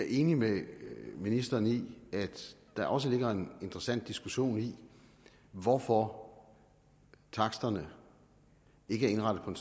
enig med ministeren i at der også ligger en interessant diskussion i hvorfor taksterne ikke er indrettet på en